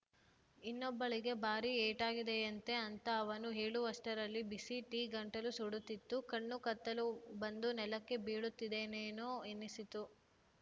ಇನ್ನೊಬ್ಬಳಿಗೆ ಬಾರಿ ಏಟಾಗಿದೆಯಂತೆ ಅಂತ ಅವನು ಹೇಳುವಷ್ಟರಲ್ಲಿ ಬಿಸಿ ಟೀ ಗಂಟಲು ಸುಡುತ್ತಿತ್ತು ಕಣ್ಣು ಕತ್ತಲು ಬಂದು ನೆಲಕ್ಕೆ ಬೀಳುತ್ತೇನೇನೋ ಎನ್ನಿಸಿತು